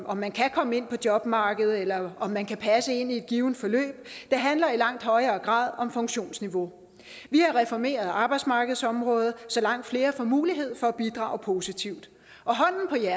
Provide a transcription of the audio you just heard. om man kan komme ind på jobmarkedet eller om man kan passe ind i et givent forløb det handler i langt højere grad om funktionsniveau vi har reformeret arbejdsmarkedsområdet så langt flere får mulighed for at bidrage positivt